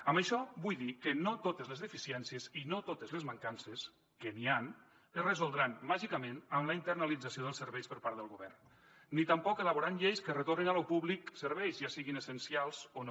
amb això vull dir que no totes les deficiències i no totes les mancances que n’hi ha es resoldran màgicament amb la internalització dels serveis per part del govern ni tampoc elaborant lleis que retornin a lo públic serveis ja siguin essencials o no